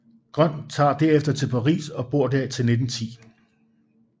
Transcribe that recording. Grøn tager derefter til Paris og bor der til 1910